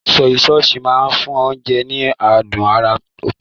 Sọ́yí sọọ̀sì máa ń fún oúnjẹ ní adùn àrà ọ̀tọ̀.